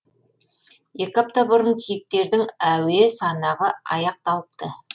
екі апта бұрын киіктердің әуе санағы аяқталыпты